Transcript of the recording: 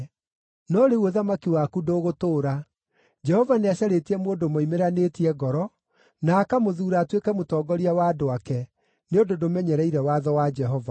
No rĩu ũthamaki waku ndũgũtũũra; Jehova nĩacarĩtie mũndũ moimĩranĩtie ngoro, na akamũthuura atuĩke mũtongoria wa andũ ake, nĩ ũndũ ndũmenyereire watho wa Jehova.”